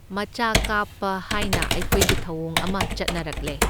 ꯃꯆꯥ ꯀꯥꯞꯄ ꯍꯥꯏꯅ ꯑꯩꯈꯣꯏꯒꯤ ꯊꯧꯑꯣꯡ ꯑꯃ ꯆꯠꯅꯔꯛꯂꯦ꯫